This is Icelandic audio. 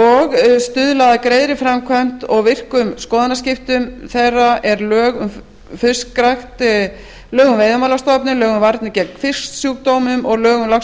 og stuðla að greiðri framkvæmd og virkum skoðanaskiptum þeirra er lög um fiskrækt lög um veiðimálastofnun lög um varnir gegn fisksjúkdómum og lög um lax og